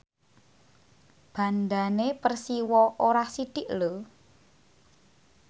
bandhane Persiwa ora sithik lho